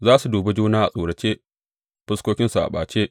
Za su dubi juna a tsorace, fuskokinsu a ɓace.